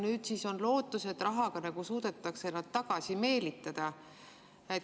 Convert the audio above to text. Nüüd siis on lootus, et rahaga suudetakse nad tagasi meelitada.